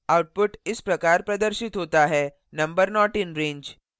output इस प्रकार प्रदर्शित होता है: number not in range